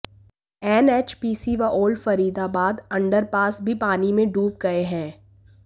NHPC व Old Faridabad underpass भी पानी में डूब गए हैं